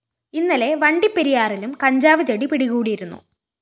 ഇന്നലെ വണ്ടിപ്പെരിയാറിലും കഞ്ചാവ് ചെടി പിടികൂടിയിരുന്നു